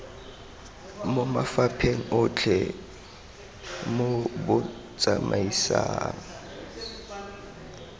mo mafapheng otlhe mo botsamaisng